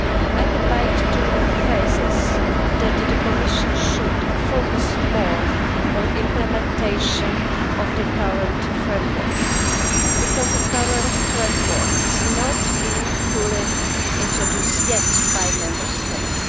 I would like to emphasise that the Commission should focus more on the implementation of the current framework, because the current framework has not been fully introduced yet by Member States.